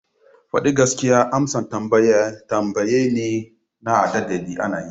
Fadi gaskiya amsan tambaye ne na a ɗadde ana yi.